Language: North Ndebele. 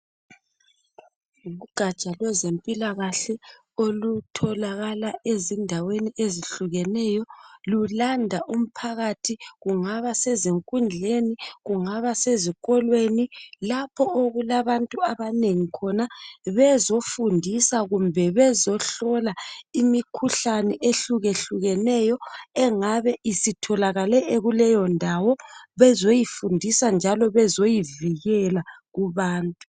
Ugatsha kwezempilakahle olutholakala ezindaweni ezihlukeneyo .Lulanda umphakathi kungaba sezinkundleni ,kungaba sezi kolweni .Lapho okulabantu abanengi khona bezofundisa kumbe bezo hlola imikhuhlane ehluke hlukeneyo engabe isitholakale kuleyondawo .Bezoyifundisa njalo bezoyivikela kubantu